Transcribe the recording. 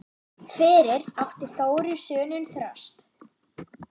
Fyrir átti Þórir soninn Þröst.